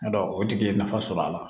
O tigi ye nafa sɔrɔ a la